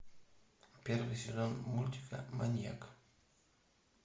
первый сезон мультика маньяк